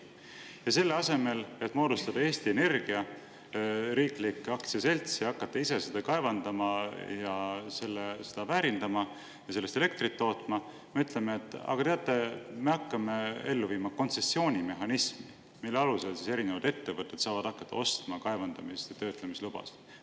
Ja selle asemel, et moodustada Eesti Energia, riiklik aktsiaselts, ja hakata ise kaevandama, seda väärindama ja sellest elektrit tootma, me ütleme, et aga teate, me hakkame ellu viima kontsessioonimehhanismi, mille alusel saavad ettevõtted hakata ostma kaevandamise ja töötlemise lubasid.